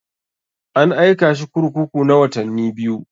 An aika shi kurkuku na watanni biyu.